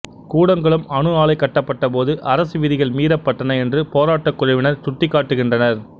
கூடங்குளம் அணு ஆலை கட்டப்பட்டபோது அரசு விதிகள் மீறப்பட்டன என்று போராட்டக் குழுவினர் சுட்டிக்காட்டுகின்றனர்